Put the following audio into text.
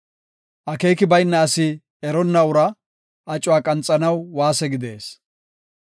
Akeeki bayna asi eronna uraa acuwa qanxanaw waase gidees.